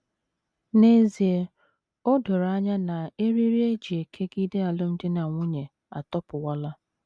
N’ezie, o doro anya na eriri e ji kegide alụmdi na nwunye atọpụwala.